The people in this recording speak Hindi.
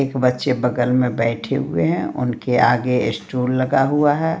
एक बच्चे बगल में बैठे हुए हैं उनके आगे स्टूल लगा हुआ है।